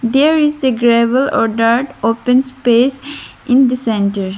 there is a gravel or dirt open space in the centre.